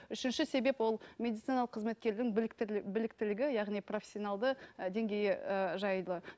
үшінші себеп ол медициналық қызметкердің білікті біліктілігі яғни профессионалды і деңгейі і жайлы